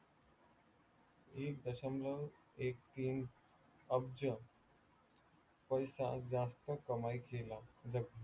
एक दशम्ब्लर एक तीन अब्ज पैसा जास्त कमाई केला